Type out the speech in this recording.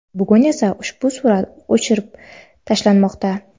Bugun esa ushbu surat o‘chirib tashlanmoqda.